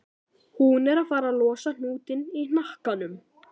Hún er farin að losa um hnútinn í hnakkanum.